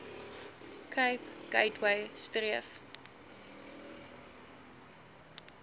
cape gateway streef